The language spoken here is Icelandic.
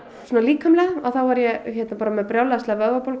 líkamlega var ég með brjálæðislega vöðvabólgu